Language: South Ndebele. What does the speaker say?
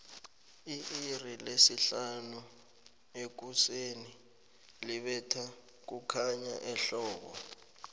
itixi lesihanu ekuseni libetha kukhanya ehbbo